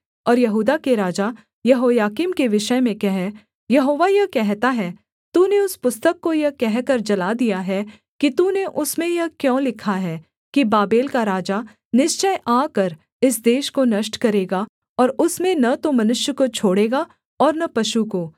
और यहूदा के राजा यहोयाकीम के विषय में कह यहोवा यह कहता है तूने उस पुस्तक को यह कहकर जला दिया है कि तूने उसमें यह क्यों लिखा है कि बाबेल का राजा निश्चय आकर इस देश को नष्ट करेगा और उसमें न तो मनुष्य को छोड़ेगा और न पशु को